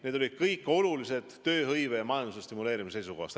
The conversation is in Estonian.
Need olid kõik olulised tööhõive ja majanduse stimuleerimise seisukohast.